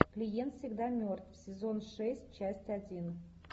клиент всегда мертв сезон шесть часть один